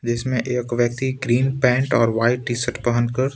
जिसमें एक व्यक्ति ग्रीन पैंट और व्हाइट टी- शर्ट पहनकर--